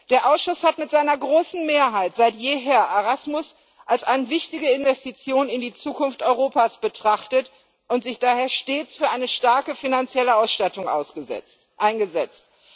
Der Ausschuss hat mit seiner großen Mehrheit seit jeher Erasmus als eine wichtige Investition in die Zukunft Europas betrachtet und sich daher stets für eine starke finanzielle Ausstattung eingesetzt.